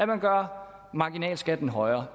man gør marginalskatten højere